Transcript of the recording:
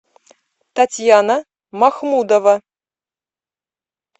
татьяна махмудова